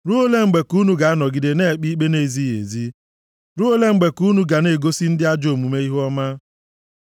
Ruo ole mgbe ka unu ga-anọgide na-ekpe ikpe na-ezighị ezi? Ruo ole mgbe ka unu ga na-egosi ndị ajọ omume ihuọma? Sela